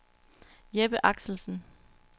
Jeppe Axelsen